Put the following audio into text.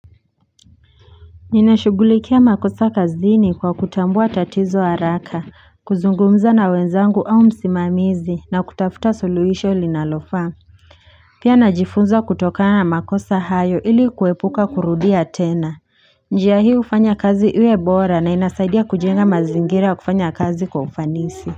Ninashughulikia makosa kazini kwa kutambua tatizo haraka, kuzungumza na wenzangu au msimamizi na kutafuta suluhisho linalofaa. Pia najifunza kutokana na makosa hayo ili kuepuka kurudia tena. Njia hii hufanya kazi iwebora na inasaidia kujenga mazingira ya kufanya kazi kwa ufanisi.